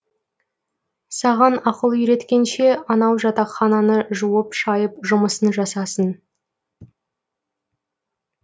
саған ақыл үйреткенше анау жатақхананы жуып шайып жұмысын жасасын